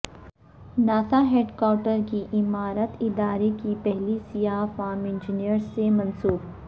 NASA headquarters کی عمارت ادارے کی پہلی سیاہ فام انجینئر سے منسوب